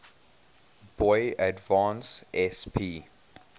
boy advance sp